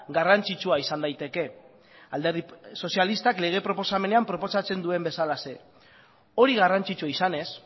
garrantzitsua izan daiteke alderdi sozialistak lege proposamenean proposatzen duen bezalaxe hori garrantzitsua izanez